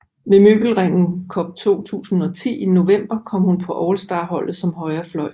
Ved Møbelringen Cup 2010 i november kom hun på Allstarholdet som højre fløj